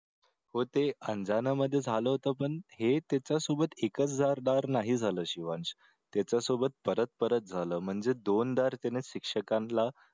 हो ते मध्ये झालं होतं पण हे त्याच्या सोबत एकच नाही झालं शिवांश त्याच्यासोबत परत परत झालं म्हणजे दोनदा त्याने शिक्षकांना